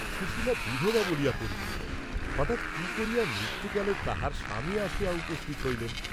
সুশীলা বিধবা বলিয়া পরিচিত, হঠাৎ কি করিয়া মৃত্যুকালে তাঁহার স্বামী আসিয়া উপস্থিত হইলেন?